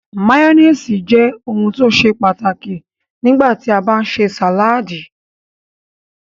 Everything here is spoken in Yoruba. Máyónísì jẹ́ ohun tó ṣe pàtàkì nígbà tí a bá ń ṣe sàládì.